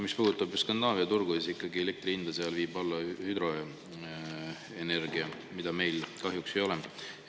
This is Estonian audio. Mis puudutab Skandinaavia turgu, siis seal viib elektri hinda alla ikkagi hüdroenergia, mida meil kahjuks ei ole.